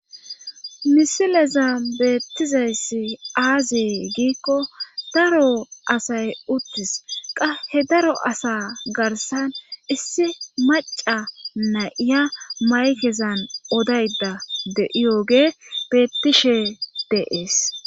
Misileza beettizayssi aaziye giikko daro asay uttis qa he daro asa garsan issi maca nay7iya maykezan odaydda de7iyoge bettishe de7ees.